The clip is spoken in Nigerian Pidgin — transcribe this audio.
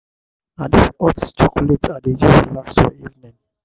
na dis hot chocolate i dey use relax for evening.